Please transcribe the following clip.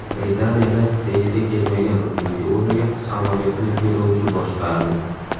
Britaniyada reysga kelmagan uchuvchi o‘rniga samolyotni yo‘lovchi boshqardi.